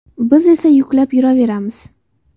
Biz esa yuklab yuraveramiz.